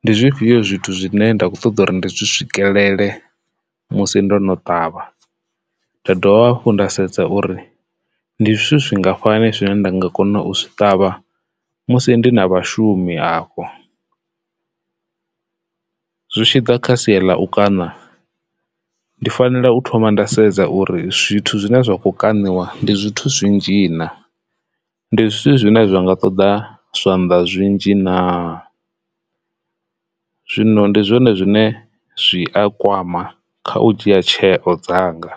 ndi zwifhio zwithu zwine nda kho ṱoḓa uri ndi zwi swikelele musi ndo no ṱavha nda dovha hafhu nda sedza uri ndi zwithu zwingafhani zwine nda nga kona u zwi ṱavha musi ndi na vhashumi afho. Zwi tshi ḓa kha sia ḽa u kana ndi fanela u thoma nda sedza uri zwithu zwine zwa kho kaniwa ndi zwithu zwinzhi na, ndi zwithu zwine zwa nga ṱoḓa zwanḓa zwinzhi na. Zwino ndi zwone zwine zwi a kwama kha u dzhia tsheo dzanga.